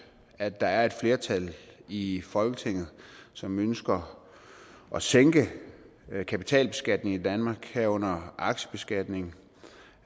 at der er et flertal i i folketinget som ønsker at sænke kapitalbeskatningen i danmark herunder aktiebeskatningen